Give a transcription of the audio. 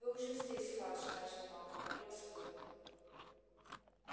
вы уже здесь фадж начал малфой превосходно